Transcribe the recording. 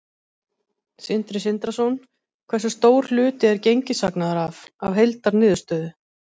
Sindri Sindrason: Hversu stór hluti er gengishagnaður af, af heildarniðurstöðu?